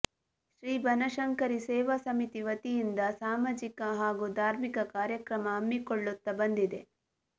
ಶ್ರೀ ಬನಶಂಕರಿ ಸೇವಾ ಸಮಿತಿ ವತಿಯಿಂದ ಸಮಾಜಿಕ ಹಾಗೂ ಧಾರ್ಮಿಕ ಕಾರ್ಯಕ್ರಮ ಹಮ್ಮಿಕೊಳ್ಳುತ್ತಾ ಬಂದಿದೆ